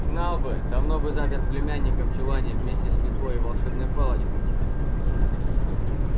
знал бы давно бы запер племянника в чулане вместе с метлой и волшебной палочкой